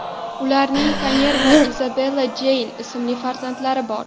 Ularning Konner va Izabella Jeyn ismli farzandlari bor.